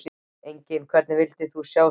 Engu Hvern vildir þú sjá á sviði?